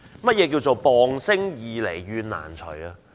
何謂"謗聲易弭怨難除"？